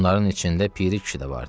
Bunların içində Piri kişi də vardı.